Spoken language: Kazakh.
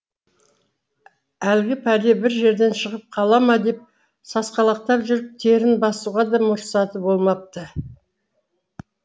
әлгі пәле бір жерден шығып қала ма деп сасқалақтап жүріп терін басуға да мұрсаты болмапты